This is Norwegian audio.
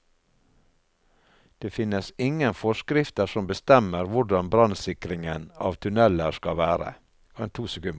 Det finnes ingen forskrifter som bestemmer hvordan brannsikringen av tunneler skal være.